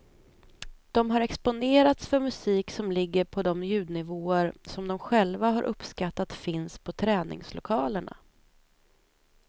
De har exponerats för musik som ligger på de ljudnivåer som de själva har uppskattat finns på träningslokalerna.